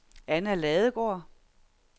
Anna Ladegaard